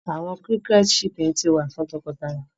Awọn cricket chirping ti wa ni nwa fun tọkọtaya